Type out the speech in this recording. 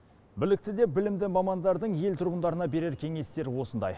білікті де білімді мамандардың ел тұрғындарына берер кеңестері осындай